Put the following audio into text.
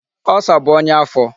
Ulcer bụ ọnya afọ.